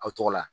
Aw tɔgɔ la